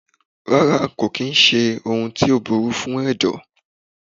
Rárá kò kìí ṣé ohun tó burú fún ẹ̀dọ̀.